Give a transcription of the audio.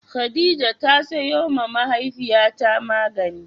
Khadijah ta sayo ma mahaifiya ta magani